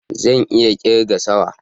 Zan iya kirga sawa